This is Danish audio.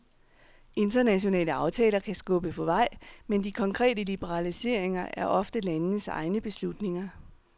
Internationale aftaler kan skubbe på vej, men de konkrete liberaliseringer er oftest landenes egne beslutninger.